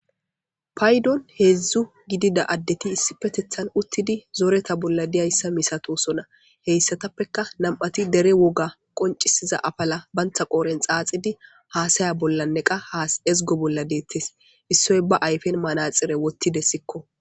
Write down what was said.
Paydon heedzdzu gidida addeti issi petethan uttidi zooreta bolla diyayssa misatosona heyssatappeka nam'ati dere woga qoncisiza afala bantha qooren xaaxidi haasaya bollanneqa haas ezgo bolla deettes issoy ba ayfen manaxire wottide sikko.